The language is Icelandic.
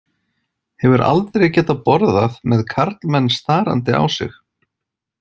Hefur aldrei getað borðað með karlmenn starandi á sig.